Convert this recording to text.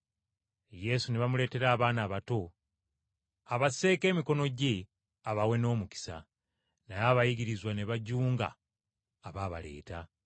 Yesu ne bamuleetera abaana abato abasseeko emikono gye abawe n’omukisa. Naye abayigirizwa ne bajunga abaabaleeta.